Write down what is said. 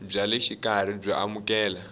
bya le xikarhi byo amukeleka